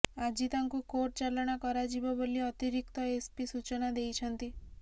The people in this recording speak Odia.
ଆଜି ତାଙ୍କୁ କୋର୍ଟ ଚାଲାଣ କରାଯିବ ବୋଲି ଅତିରିକ୍ତ ଏସପି ସୂଚନା ଦେଇଛନ୍ତି